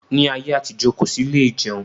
Ní ayé àtijọ́, kò sí ilé ìjẹun